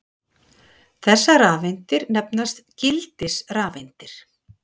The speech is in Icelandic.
þessar rafeindir nefnast gildisrafeindir